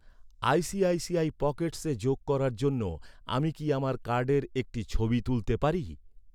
ICICI পকেটসে যোগ করার জন্য, আমি কি আমার কার্ডের একটি ছবি তুলতে পারি?